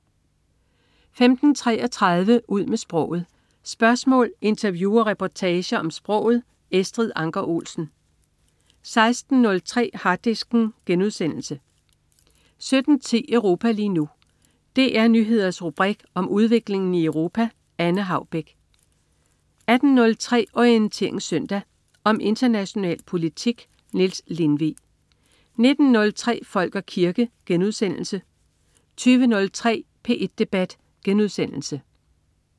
15.33 Ud med sproget. Spørgsmål, interview og reportager om sproget. Estrid Anker Olsen 16.03 Harddisken* 17.10 Europa lige nu. DR Nyheders rubrik om udviklingen i Europa. Anne Haubek 18.03 Orientering Søndag. Om international politik. Niels Lindvig 19.03 Folk og kirke* 20.03 P1 Debat*